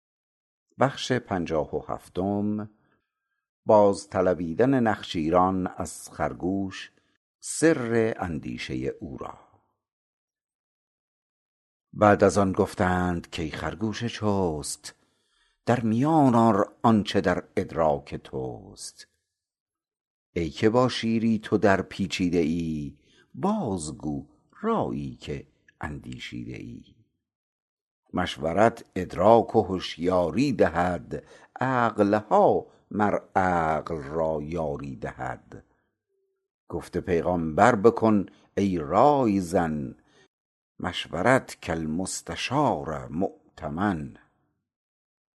بعد از آن گفتند کای خرگوش چست در میان آر آنچ در ادراک تست ای که با شیری تو در پیچیده ای بازگو رایی که اندیشیده ای مشورت ادراک و هشیاری دهد عقلها مر عقل را یاری دهد گفت پیغامبر بکن ای رای زن مشورت کالمستشار مؤتمن